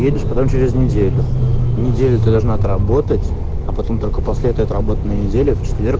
едешь потом через неделю неделю ты должна отработать а потом только после этой отработано недели в четверг